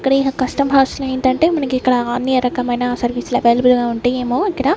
ఇక్కడ కష్ట భాషలో ఏంటంటే మనకిక్కడ అన్ని రకమైన సర్వీస్ అవైలబుల్ గా ఉంటయేమో ఎక్కడ--